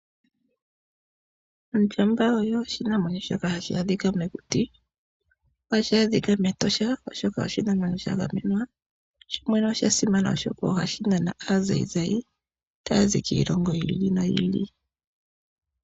Ondjamba oyo oshinamwenyo shoka hashi adhika mokuti . Ohashi adhika mEtosha National Park, oshoka oshinamwenyo shagamenwa . Oshinamwenyo shoka osha simana, oshoka ohashi nana aazayizayi taya zi kiilongo yiili noyiili.